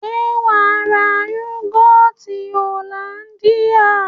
Se waa ra yogoti hollandia?